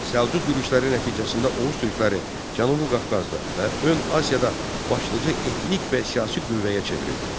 Səlcuq yürüşləri nəticəsində Oğuz türkləri Cənubi Qafqazda və Ön Asiyada başlıca etnik və siyasi qüvvəyə çevrildi.